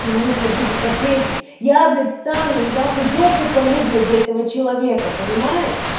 нужно будет ответить я блять встану и нахуй жопу порву блять за этого человека понимаешь